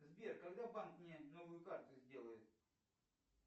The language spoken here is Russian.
сбер когда банк мне новую карту сделает